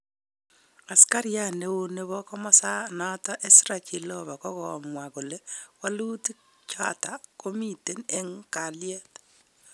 Askariat neo nepo komosa nato Ezra Chiloba kokamwa kole welutik chato komiten en kaliet